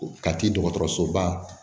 Kati dɔgɔtɔrɔsoba